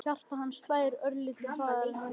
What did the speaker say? Hjarta hans slær örlitlu hraðar en venjulega.